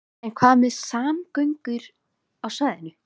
En hvað með samgöngur á svæðinu?